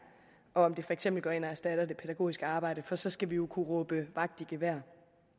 om det for eksempel går ind og erstatter det pædagogiske arbejde for så skal vi jo kunne råbe vagt i gevær